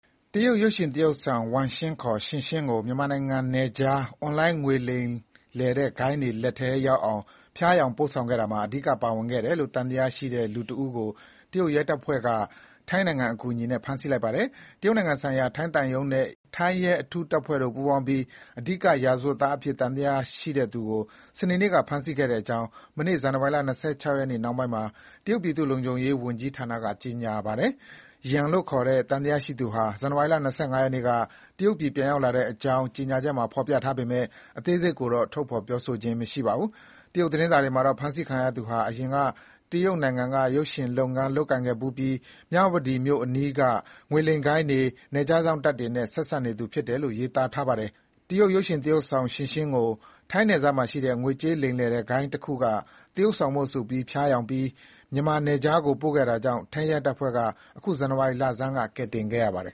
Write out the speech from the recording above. တရုတ် ရုပ်ရှင်သရုပ်ဆောင် Wang Xing ခေါ် Xing Xing ကို ထိုင်း-မြန်မာနိုင်ငံနယ်စပ် အွန်လိုင်းကငွေလိမ်တဲ့ ဂိုဏ်းတွေလက်ထဲရောက်အောင် ဖျားယောင်းပို့ဆောင်ခဲ့ရာမှာ အဓိကပါဝင်ခဲ့တယ်လို့ သံသယရှိသူတဦးကို ထိုင်းနိုင်ငံအကူအညီနဲ့ တရုတ်ရဲတပ်ဖွဲ့က ဖမ်းဆီးလိုက်ပါတယ်။ တရုတ်နိုင်ငံဆိုင်ရာ ထိုင်းသံရုံးနဲ့ ထိုင်းရဲအထူးတပ်ဖွဲ့တို့ ပူးပေါင်းပြီး ရာဇဝတ်သားအဖြစ် အဓိကသံသယရှိသူကို စနေနေ့က ဖမ်းဆီးခဲ့တဲ့အကြောင်း မနေ့နှောင်းပိုင်းမှာ တရုတ် ပြည်သူ့လုံခြုံရေးဝန်ကြီးဌာနက ကြေညာပါတယ်။ Yan လို့ ခေါ်တဲ့ သံသယရှိသူကို ဇန်နဝါရီလ ၂၅ ရက်နေ့က တရုတ်ပြည်ကို ပြန်ရောက်လာတဲ့အကြောင်း ကြေညာချက်မှာဖေါ်ပြထားပေမဲ့ အသေးစိတ်ကိုတော့ ထုတ်ဖေါ်ပြောဆိုခြင်း မရှိပါဘူး။ တရုတ်သတင်းစာတွေမှာတော့ ဖမ်းဆီးခံရသူဟာ အရင်က တရုတ်နိုင်ငံက ရုပ်ရှင်လုပ်ငန်းလုပ်ကိုင်ခဲ့ဖူးပြီး မြဝတီမြို့အနီးက ငွေလိမ်ဂိုဏ်းတွေ၊ နယ်ခြားစောင့်တပ်တွေနဲ့ ဆက်စပ်နေသူဖြစ်တယ်လို့ ရေးသားပါတယ်။ တရုတ် ရုပ်ရှင်သရုပ်ဆောင် Xing Xing ကို ထိုင်းနယ်စပ်မှာရှိတဲ့ ငွေကြေးလိမ်လည်တဲ့ဂိုဏ်းတခုက သရုပ်ဆောင်ဖို့ဆိုပြီး ဖျားယောင်းပြီး မြန်မာနယ်ခြားကို ပို့ခဲ့တာကြောင့် ထိုင်းရဲတပ်ဖွဲ့က ပြီးခဲ့တဲ့ ဇန္နဝါရီလဆန်းက ကယ်တင်ခဲ့ပါတယ်